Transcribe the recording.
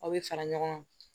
Aw bɛ fara ɲɔgɔn kan